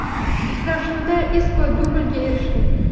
Uchrashuvda Isko dublga erishdi.